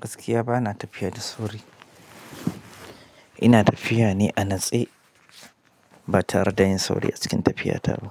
Gaskiya bana tafiya da sauri ina tafiya ne a natse, ba tare da yin sauri a cikin tafiyata ba,